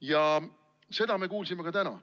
Ja seda me kuulsime ka täna.